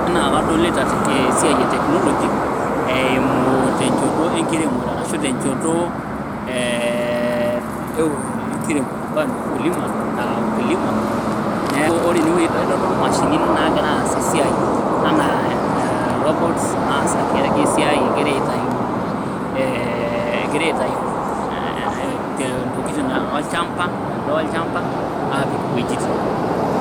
Enakadolita esiai e technology, eimu tenchoto enkiremore, arashu tenchoto enkiremore, ambao ni ukulima, neku ore enewoi kitodolu mashinini nagira aas esiai anaa robots naas ake esiai egira aitayu, eh egira aitayu intokiting olchamba, endaa olchamba, apik iwuejiting.